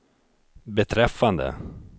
beträffande